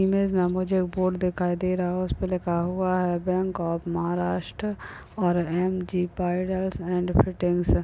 Image में मुझे board दिखाई दे रहा है उसमे लिखा है बँक ऑफ महाराष्ट्र और एम.जि. And fitting --